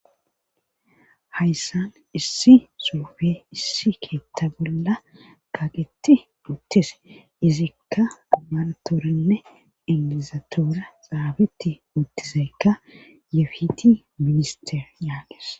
Hayssan issi surfe issi keetta bolla kaaqetti dhuuttise izikka umartoorinne iizatora xaabetti uuttizeykka yefiti minister yaages